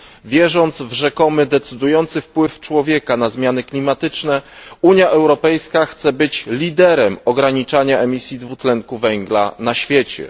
Wierząc w rzekomy decydujący wpływ człowieka na zmiany klimatyczne, Unia Europejska chce być liderem ograniczania emisji dwutlenku węgla na świecie.